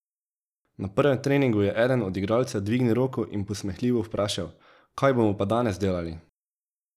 Na prvem treningu je eden od igralcev dvignil roko in posmehljivo vprašal: 'Kaj bomo pa danes delali?